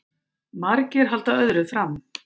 Margir halda öðru fram